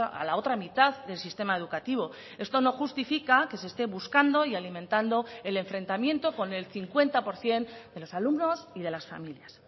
a la otra mitad del sistema educativo esto no justifica que se esté buscando y alimentando el enfrentamiento con el cincuenta por ciento de los alumnos y de las familias